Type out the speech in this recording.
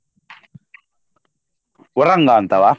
Varanga . ಅಂತವ.